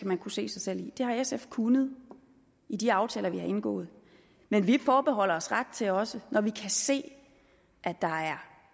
man kunne se sig selv i det har sf kunnet i de aftaler vi har indgået men vi forbeholder os ret til også når vi kan se at der er